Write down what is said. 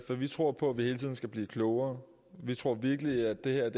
at vi tror på at vi hele tiden skal blive klogere vi tror virkelig at det her